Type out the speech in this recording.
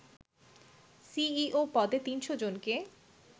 CEO পদে ৩০০ জনকে